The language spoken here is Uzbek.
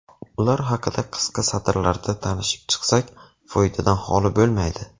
Ular haqida qisqa satrlarda tanishib chiqsak, foydadan holi bo‘lmaydi.